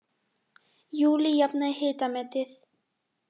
Júlí jafnaði hitametið